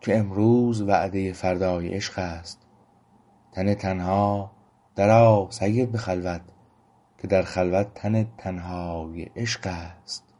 که امروز وعده فردای عشق است تن تنها در آ سید به خلوت که در خلوت تن تنهای عشقست